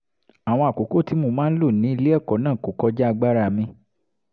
àwọn àkókò tí mo máa ń lò ní ilé ẹ̀kọ́ náà kò kọjá agbára mi